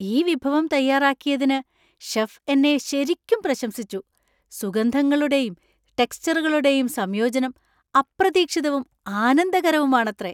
ഈ വിഭവം തയ്യാറാക്കിയതിന് ഷെഫ് എന്നെ ശരിക്കും പ്രശംസിച്ചു; സുഗന്ധങ്ങളുടെയും ടെക്സ്ചറുകളുടെയും സംയോജനം അപ്രതീക്ഷിതവും ആനന്ദകരവുമാണത്രേ.